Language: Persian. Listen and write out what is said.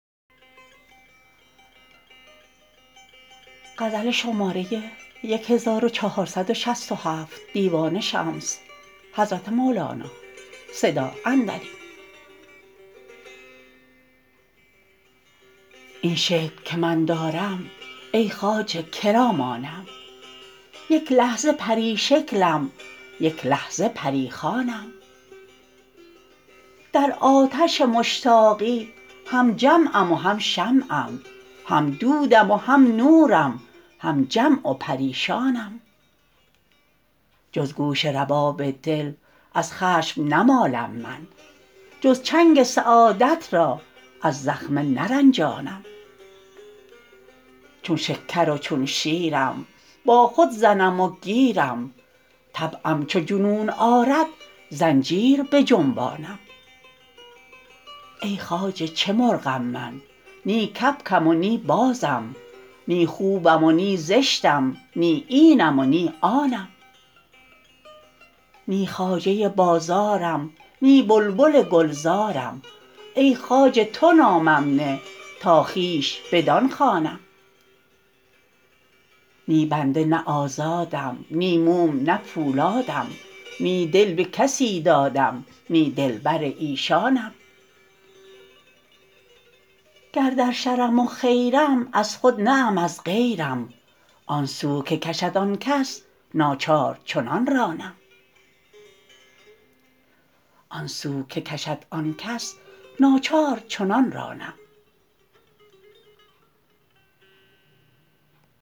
این شکل که من دارم ای خواجه که را مانم یک لحظه پری شکلم یک لحظه پری خوانم در آتش مشتاقی هم جمعم و هم شمعم هم دودم و هم نورم هم جمع و پریشانم جز گوش رباب دل از خشم نمالم من جز چنگ سعادت را از زخمه نرنجانم چون شکر و چون شیرم با خود زنم و گیرم طبعم چو جنون آرد زنجیر بجنبانم ای خواجه چه مرغم من نی کبکم و نی بازم نی خوبم و نی زشتم نی اینم و نی آنم نی خواجه بازارم نی بلبل گلزارم ای خواجه تو نامم نه تا خویش بدان خوانم نی بنده نی آزادم نی موم نه پولادم نی دل به کسی دادم نی دلبر ایشانم گر در شرم و خیرم از خود نه ام از غیرم آن سو که کشد آن کس ناچار چنان رانم